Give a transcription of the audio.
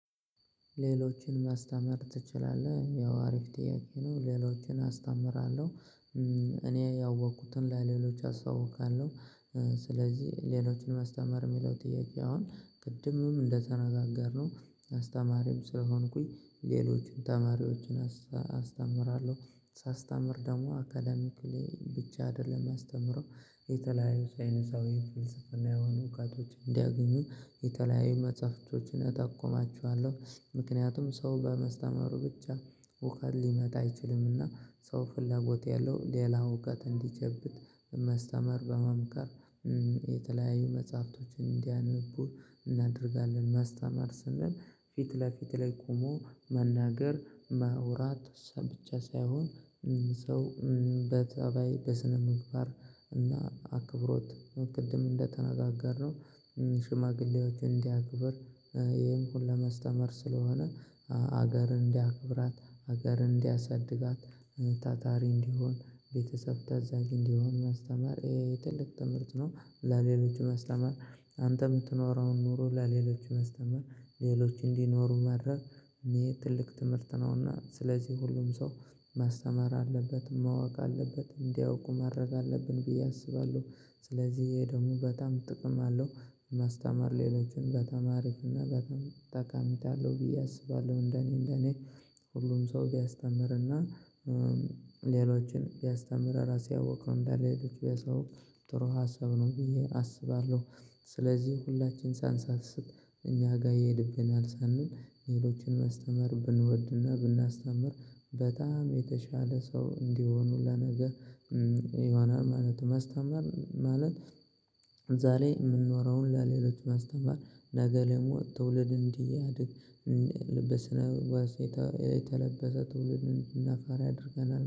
ሌሎችን ማስተማር ትችላለህ ያው አሪፍ ጥያቄ ነው ሌሎችን አስተምራለሁ። እኔ ያወቅኩትን ለሌሎች አስታውቃለሁ። ስለዚህ ሌሎችን ማስተማር የሚለው ጥያቄ አሁን ቅድምም እንደተነጋገርነው አስተማሪም ስለሆንኩኝ ሌሎችን ተማሪዎችን አስተምራለሁ ሳስተምር ደግሞ አካዳሚክሊ ብቻ አይደለም ያስተምረው የተለያዩ ሳይንሳዊ ፍልስፍና የሆኑ እውቀቶችን እንዲያገኙ የተለያዩ መጽሐፍቶችን እጠቁማችኋለሁ። ምክንያቱም ሰው በመስተማሩ ብቻ እውቀት ሊመጣ አይችልምና። ሰው ፍላጎት ያለው ሌላ እውቀት እንዲጨብጥ በማስተማር በመምከር የተለያዩ መጽሐፍቶችን እንዲያነቡ እናደርጋለን። ማስተማር ስንል ፊት ለፊት ላይ ቆሞ መናገር ማውራት ሰም ብቻ ሳይሆን። ሰው በጠባይ በስነ ምግባር እና አክብሮት ቅድም እንደተነጋገርነው ሽማግሌዎችን እንዲያክብር። ይሄን ሁሉ ለማስተማር ስለሆነ ሀገርን እንዲያከብራት ሀገርን እንዲያሳድጋት ታታሪ እንዲሆን ቤተሰብ ታዛዥ እንዲሆን ማስተማር የትልቅ ትምህርት ነው። ለሌሎቹ ማስተማር አንተ የምትኖረውን ኑሮ ለሌሎች ማስተማር ሌሎች እንዲኖሩ ማድረግ። ይሄ ትልቅ ትምህርት ነውና ስለዚህ ሁሉም ሰው ማስተማር አለበት ማወቅ አለበት እንዲያውቁ ማድረግ አለብን ብዬ አስባለሁ። ስለዚህ ይሄ ደሞ በጣም ጥቅም አለው። ማስተማር ሌሎችን በጣም አሪፍ እና በጣም ጠቀሜታ አለው ብዬ አስባለሁ። እንደኔ እንደኔ ሁሉም ሰው ቢያስተምርና ሌሎችን ቢያስተምር ራሴ ያወቅኩት እንዳለ ሄዶቹ የሰው ጥሩ ሀሳብ ነው ብዬ አስባለሁ። ስለዚህ ሁላችን ሳንሰስት እኛ ጋር ይሄድብናል ሳንል ሌሎችን ማስተማር ብንወድና ብናስተምር በጣም የተሻለ ሰው እንዲሆኑ ለነገ ይሆናል ማለት ነው። ማስተማር ማለት ዛሬ ላይ የምንኖረውን ለሌሎች ማስተማር ነገ ለሞት ትውልድ እንዲያድግ። በስነምግባር የተለበሰ ትውልድ እንድናፈራ ያደርገናል።